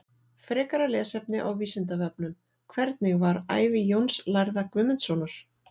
Frekara lesefni á Vísindavefnum: Hvernig var ævi Jóns lærða Guðmundssonar?